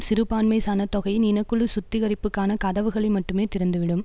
சிறுபான்மை சனத்தொகையின் இனக்குழு சுத்திகரிப்புக்கான கதவுகளை மட்டுமே திறந்துவிடும்